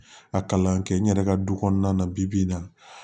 A kalan kɛ n yɛrɛ ka du kɔnɔna na bi bi in na